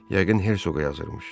Yəqin Herzoqa yazırmış.